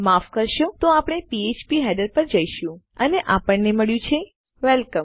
માફ કરશો તો આપણે ફ્ફ્પ હેડર પર જઈશું અને આપણને મળ્યું છે વેલકમ